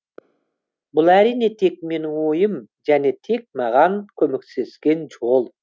бұл әрине тек менің ойым және тек маған көмектескен жол